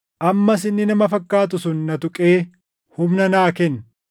Ammas inni nama fakkaatu sun na tuqee humna naa kenne.